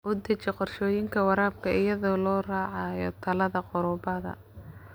U deji qorshooyinka waraabka iyadoo la raacayo talada khubarada.